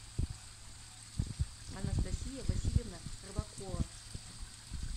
анастасия васильевна рыбакова